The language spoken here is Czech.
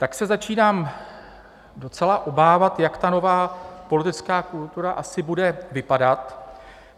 Tak se začínám docela obávat, jak ta nová politická kultura asi bude vypadat.